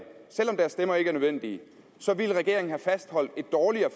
selv om deres stemmer ikke var nødvendige ville regeringen have fastholdt et dårligere